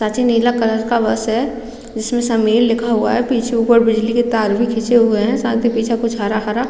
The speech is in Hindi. नीला कलर का बस है जिसमें समीर लिखा हुआ है पीछे ऊपर बिजली का तार भी खींचे हुए है साथ ही पीछे कुछ हरा-हरा --